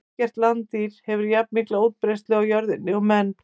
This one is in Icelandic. Ekkert landdýr hefur jafnmikla útbreiðslu á jörðinni og menn.